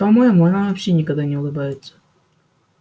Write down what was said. по моему она вообще никогда не улыбается